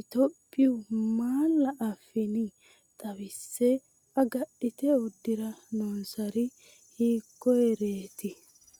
Itophiyu malaa afiinni xawisse, agadhite uddi’ra noonsari hiikkoreeti?